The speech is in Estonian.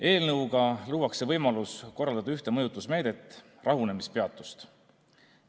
Eelnõuga luuakse võimalus kasutada ühte mõjutusmeedet – rahunemispeatust.